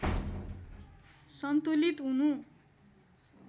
सन्तुलित हुनु